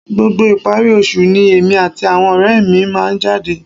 Gbogbo ìparí oṣù ni èmi àti àwọn ọ̀rẹ́ mi máa ń jáde